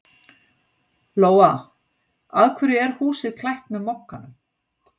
Lóa: Af hverju er húsið klætt með Mogganum?